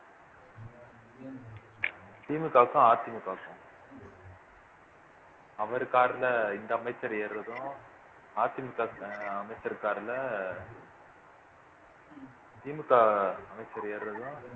திமுகவுக்கும் அதிமுகவுக்கும் அவர் car ல இந்த அமைச்சர் ஏறுறதும் அதிமுக அமைச்சர் car ல திமுக அமைச்சர் ஏறுறதும்